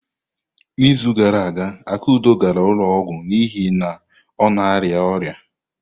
N'izu gara aga, Akudo gara ụlọ ọgwụ n'ihi na ọ na-arịa ọrịa.